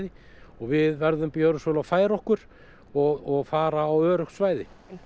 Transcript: og við verðum að gjöra svo vel og færa okkur og fara á öruggt svæði